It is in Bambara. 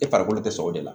E farikolo tɛ sɔn o de la